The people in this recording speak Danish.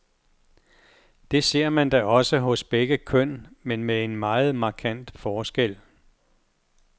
Det ser man da også hos begge køn, men med en meget markant forskel.